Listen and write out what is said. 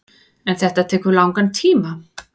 En tekur þetta langan tíma.